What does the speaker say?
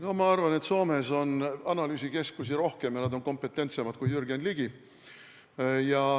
No ma arvan, et Soomes on analüüsikeskusi rohkem ja nad on kompetentsemad kui Jürgen Ligi.